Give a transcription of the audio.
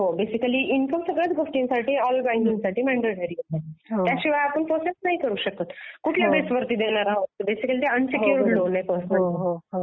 हां income basically सगळ्याच गोष्टींसाठी ऑल बंकींग साठी मँडेटरी आहे. त्याशिवाय आपण प्रोसेस नाही करू शकत. कुठल्या बेसिस वर देणार आहोत? बेसिकली ते अंसेक्युअर्ड लोन आहे पर्सनल लोन.